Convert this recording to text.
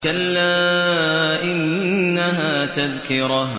كَلَّا إِنَّهَا تَذْكِرَةٌ